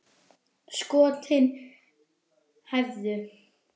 Skotin hæfðu!